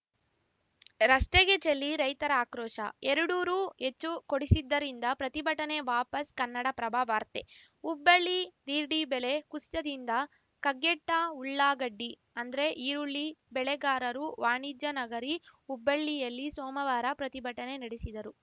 ರಸ್ತೆಗೆ ಚೆಲ್ಲಿ ರೈತರ ಆಕ್ರೋಶ ಎರಡು ರೂ ಹೆಚ್ಚು ಕೊಡಿಸಿದ್ದರಿಂದ ಪ್ರತಿಭಟನೆ ವಾಪಸ್‌ ಕನ್ನಡಪ್ರಭ ವಾರ್ತೆ ಹುಬ್ಬಳ್ಳಿ ದಿಢೀ ಬೆಲೆ ಕುಸಿತದಿಂದ ಕಗ್ಗೆಟ್ಟಉಳ್ಳಾಗಡ್ಡಿ ಅಂದ್ರೆಈರುಳ್ಳಿ ಬೆಳೆಗಾರರು ವಾಣಿಜ್ಯ ನಗರಿ ಹುಬ್ಬಳ್ಳಿಯಲ್ಲಿ ಸೋಮವಾರ ಪ್ರತಿಭಟನೆ ನಡೆಸಿದರು